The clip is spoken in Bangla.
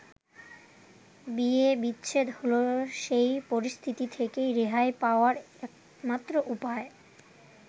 বিয়ে-বিচ্ছেদ হলো সেই পরিস্থিতি থেকে রেহাই পাওয়ার একমাত্র উপায়।